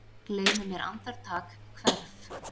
Gleymi mér andartak, hverf.